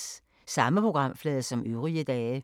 Samme programflade som øvrige dage